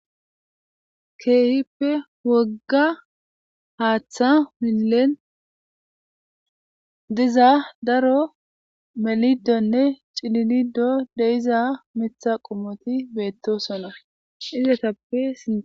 Keehippe wogga haaththa milen diza daro melidonne cililido deiza mitha qumoti beetto sona izetappe.